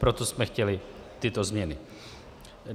Proto jsme chtěli tyto změny.